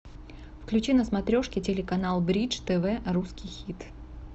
включи на смотрешке телеканал бридж тв русский хит